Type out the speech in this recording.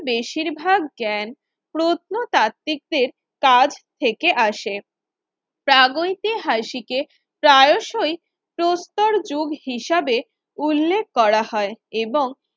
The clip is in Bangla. বেশিরভাগ জ্ঞান প্রত্নতাত্ত্বিকদের কাজ থেকে আসে প্রাগৈতিহাসিকে প্রায়শই প্রস্তর যুগ হিসাবে উল্লেখ করা হয় এবং